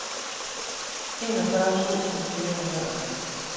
enogfyrre tusind fire hundrede og tre